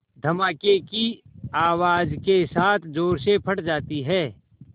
धमाके की आवाज़ के साथ ज़ोर से फट जाती है